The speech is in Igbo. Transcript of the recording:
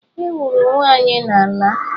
Ewuru ụwa anyị n'ala.